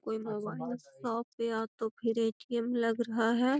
कोई का शॉप या तो फिर ए.टी.एम. लग रहा है।